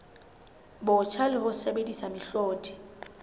botjha le ho sebedisa mehlodi